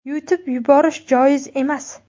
Yutib yuborish joiz emas.